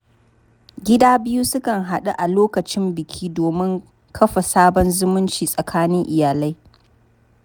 Gida biyu sukan haɗu a lokacin biki domin kafa sabon zumunci tsakanin iyalai.